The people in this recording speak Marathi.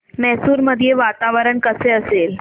मैसूर मध्ये वातावरण कसे असेल